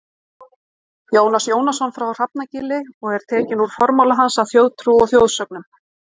Jónas Jónasson á Hrafnagili og er tekinn úr formála hans að Þjóðtrú og þjóðsögnum.